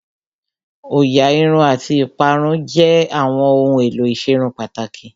Òyà Irun àti ìparun jẹ́ àwọn ohun èlò ìserun pàtàkì